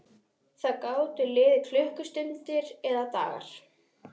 Það gátu liðið klukkustundir eða dagar.